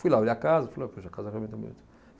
Fui lá olhar a casa. E falei, poxa, a casa realmente é bonita.